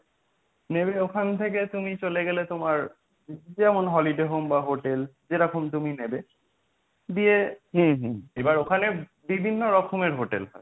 নেমে ওখান থেকে তুমি চলে গেলে তোমার যেমন Holiday home বা hotel যেরকম তুমি নেবে, দিয়ে এবার ওখানে বিভিন্ন রকমের hotel হয়।